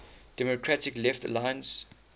democratic left alliance